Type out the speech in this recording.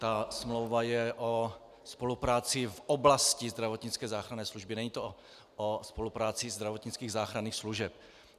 Ta smlouva je o spolupráci v oblasti zdravotnické záchranné služby, není to o spolupráci zdravotnických záchranných služeb.